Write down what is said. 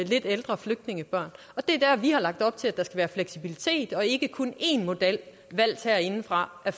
lidt ældre flygtningebørn og det er der vi har lagt op til at der skal være fleksibilitet og ikke kun én model valgt herindefra af